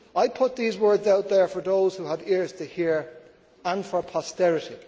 I put these words out there for those who have ears to hear, and for posterity.